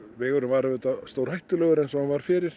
vegurinn var auðvitað stórhættulegur eins og hann var fyrir